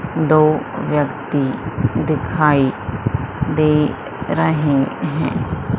दो व्यक्ति दिखाई दे रहे हैं।